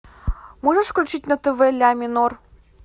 можешь включить на тв ля минор